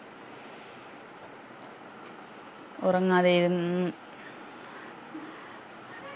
ഉറങ്ങാതെ ഇരു ഉം